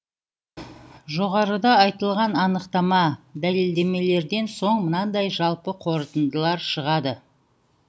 жоғарыда айтылған анықтама дәлелдемелерден соң мынадай жалпы қорытындылар шығады